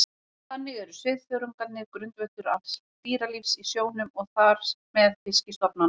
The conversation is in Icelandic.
Þannig eru svifþörungarnir grundvöllur alls dýralífs í sjónum og þar með fiskistofnanna.